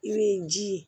I bɛ ji ye